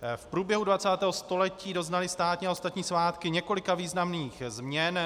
V průběhu 20. století doznaly státní a ostatní svátky několika významných změn.